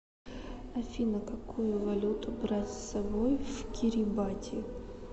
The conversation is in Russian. афина какую валюту брать с собой в кирибати